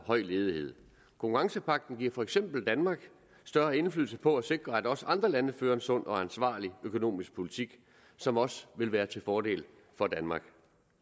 høj ledighed konkurrencepagten giver for eksempel danmark større indflydelse på at sikre at også andre lande fører en sund og ansvarlig økonomisk politik som også vil være til fordel for danmark